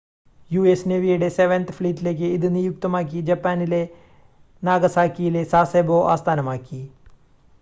US നേവിയുടെ seventh ഫ്ലീറ്റിലേക്ക് ഇത് നിയുക്തമാക്കി ജപ്പാനിലെ നാഗസാക്കിയിലെ സാസെബോ ആസ്ഥാനമാക്കി